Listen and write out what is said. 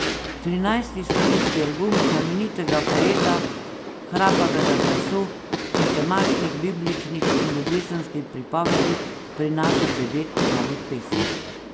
Trinajsti studijski album znamenitega poeta hrapavega glasu in temačnih bibličnih in ljubezenskih pripovedi prinaša devet novih pesmi.